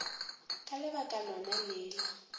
ka lebaka lona le la